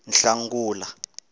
nhlangula